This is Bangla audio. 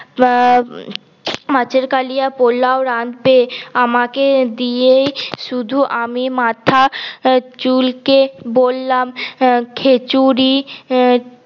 মা মাছের কালিয়া পলাও রান্ধতে আমাকে দিয়েই শুধু আমি মাথা চুলকে বললাম খিছুড়ি